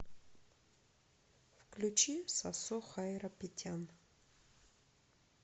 включи сосо хайрапетян